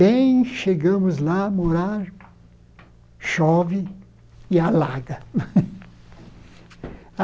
Bem chegamos lá a morar, chove e alaga.